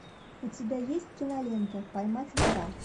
у тебя есть кинолента поймать вора